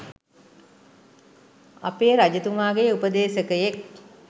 අපේ රජතුමාගේ උපදේශකයෙක්